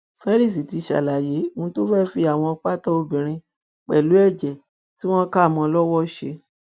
felix ti ń ṣàlàyé ohun tó fẹẹ fi àwọn pátá obìnrin pẹlú ẹjẹ tí wọn kà mọ ọn lọwọ ṣe